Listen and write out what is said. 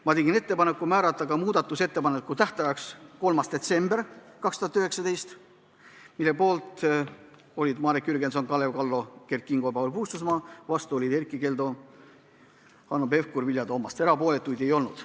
Ma tegin ettepaneku määrata muudatusettepanekute tähtajaks 3. detsember 2019, mille poolt olid Marek Jürgenson, Kalev Kallo, Kert Kingo ja Paul Puustusmaa, vastu olid Erkki Keldo, Hanno Pevkur ja Vilja Toomast, erapooletuid ei olnud.